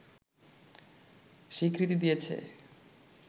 স্বীকৃতি দিয়েছে